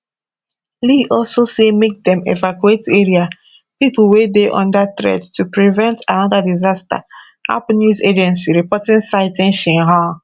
li also say make dem evacuate area pipo wey dey under threat to prevent anoda disaster ap news agency reports citing xinhua